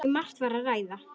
Um margt var að ræða.